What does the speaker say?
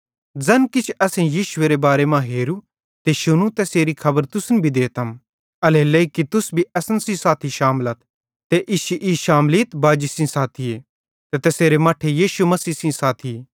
ज़ैन किछ असेईं यीशुएरे बारे हेरू ते शुनू तैसेरी खबर तुसन भी देतम एल्हेरेलेइ कि तुस भी असन सेइं साथी शामलथ ते इश्शी ई शामलीत बाजी सेइं साथी ते तैसेरे मट्ठे यीशु मसीह सेइं साथीए